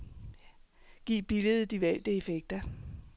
Giv billedet de valgte effekter.